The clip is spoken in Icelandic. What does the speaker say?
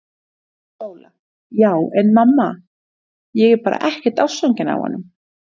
SÓLA: Já en mamma, ég er bara ekkert ástfangin af honum!!